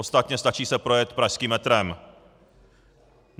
Ostatně stačí se projet pražským metrem.